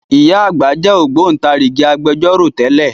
Ìyá àgbà jẹ́ Ògbóntarìgì Agbẹjọ́rò tẹ́lẹ̀